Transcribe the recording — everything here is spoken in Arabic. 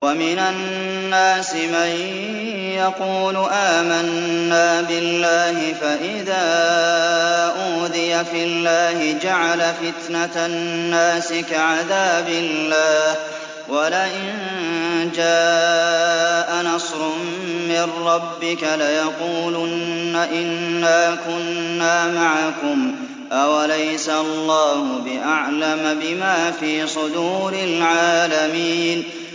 وَمِنَ النَّاسِ مَن يَقُولُ آمَنَّا بِاللَّهِ فَإِذَا أُوذِيَ فِي اللَّهِ جَعَلَ فِتْنَةَ النَّاسِ كَعَذَابِ اللَّهِ وَلَئِن جَاءَ نَصْرٌ مِّن رَّبِّكَ لَيَقُولُنَّ إِنَّا كُنَّا مَعَكُمْ ۚ أَوَلَيْسَ اللَّهُ بِأَعْلَمَ بِمَا فِي صُدُورِ الْعَالَمِينَ